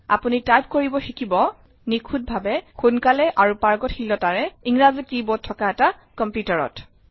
আপুনি টাইপ কৰিব শিকিব নিখুতভাৱে সোনকালে আৰু পাৰ্গতশীলতাৰে ইংৰাজী কী বোৰ্ড থকা এটা কম্পিউটাৰত